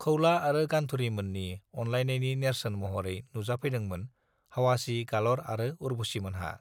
खौला आरो गान्थुरीमोननि अनलायनायनि नेर्सोन महरै नुजाफैदोंमोन हावासी गालर आरो उर्बुसीमोनहा